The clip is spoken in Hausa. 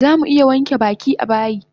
Zamu iya wanke baki a bayi